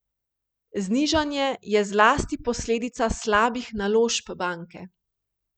Znižanje je zlasti posledica slabih naložb banke.